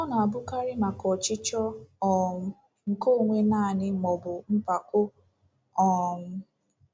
Ọ na-abụkarị maka ọchịchọ um nke onwe naanị maọbụ mpako. um